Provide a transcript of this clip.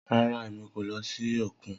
Rara, Emi ko lọ si okun.